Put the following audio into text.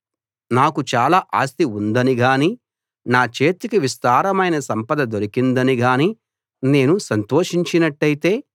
నాకు చాలా ఆస్తి ఉందని గానీ నా చేతికి విస్తారమైన సంపద దొరికిందని గానీ నేను సంతోషించినట్టయితే